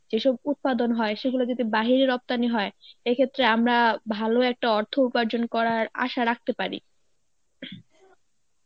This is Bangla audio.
যেসব উৎপাদন হয় সেগুলো যদি বাহিরে রপ্তানি হয় এক্ষেত্রে আমরা ভালো একটা অর্থ উপার্জন করার আশা রাখতে পারি.